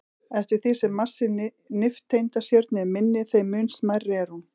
Eftir því sem massi nifteindastjörnu er minni, þeim mun smærri er hún.